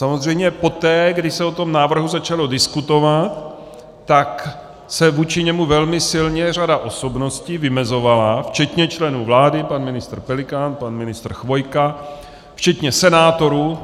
Samozřejmě poté, kdy se o tom návrhu začalo diskutovat, tak se vůči němu velmi silně řada osobností vymezovala, včetně členů vlády - pan ministr Pelikán, pan ministr Chvojka, včetně senátorů.